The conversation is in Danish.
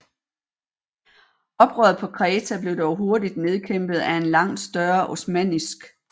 Oprøret på Kreta blev dog hurtigt nedkæmpet af en langt større osmannisk